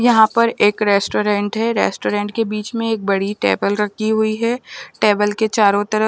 यहाँ पर एक रेस्टोरेंट है रेस्टोरेंट के बिच में एक बड़ी टेबल रखी हुई है टेबल के चारो तरफ--